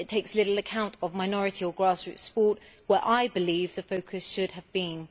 It takes little account of minority or grassroots sport where I believe the focus should have been.